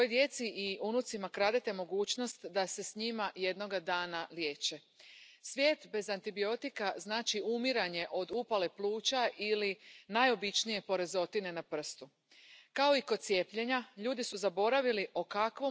Señora presidenta, enhorabuena a mi compañera Kadenbach por este informe tan importante, que recoge un claro enfoque integral a una de las grandes amenazas de salud en la actualidad, una amenaza que de no combatirse —como ella bien recoge en el informe— puede superar a la amenaza actual que supone ya el cáncer.